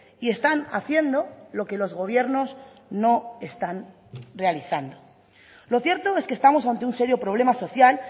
y están haciendo lo que los gobiernos no están realizando lo cierto es que estamos ante un serio problema social